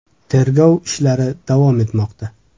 Tergov ishlari davom etmoqda.